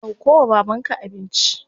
Dauko wa babanka abinci.